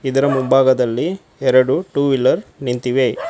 ಇದರ ಮುಂಭಾಗದಲ್ಲಿ ಎರಡು ಟೂ ವೀಲರ್ ನಿಂತಿವೆ.